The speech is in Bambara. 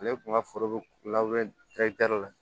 Ale kun ka foro be la